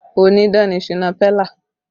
Onídán ni Shina Pellar